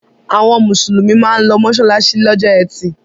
Àwọn Mùsùlùmí máa ń lọ mọ́ṣáláṣí lọ́jọ́ ẹtì